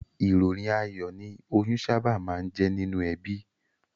Ìròyìn ayọ̀ ni oyún sábà máa ń jẹ́ nínú ẹbí